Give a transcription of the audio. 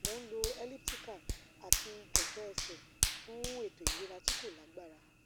mo n lò elliptical ati kẹkẹ ẹsẹ fun eto ilera ti ko lagbara